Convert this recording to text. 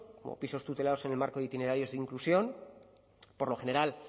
como pisos tutelados en el marco de itinerarios de inclusión por lo general